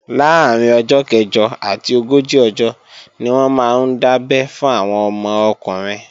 Láàrín ọjọ́ kẹ̀jọ àti ogójì ọjọ́ ni wọ́n máa ń dábé fún àwọn ọmọ ọkùnrin